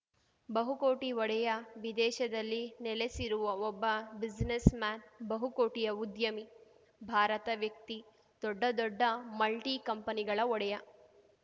ಬಹುಕೋಟಿ ಒಡೆಯ ವಿದೇಶದಲ್ಲಿ ನೆಲೆಸಿರುವ ಒಬ್ಬ ಬ್ಯುಸಿನೆಸ್‌ ಮ್ಯಾನ್‌ ಬಹು ಕೋಟಿಯ ಉದ್ಯಮಿ ಭಾರತ ವ್ಯಕ್ತಿ ದೊಡ್ಡ ದೊಡ್ಡ ಮಲ್ಟಿಕಂಪನಿಗಳ ಒಡೆಯ